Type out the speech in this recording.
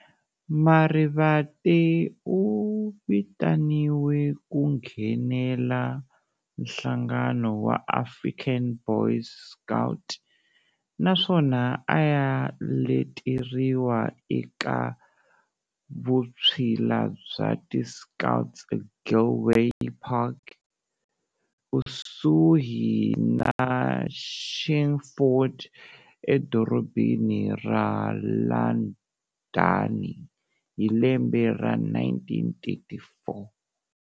Marivate u vitaniwe ku nghenela nhlangano wa African Boys Scouts, naswona a ya leteriwa eka vutshila bya ti"Scoutse Gilwell Park", kusuhi na Chingford e dorobheni ra Landhani, hi lembe ra 1934.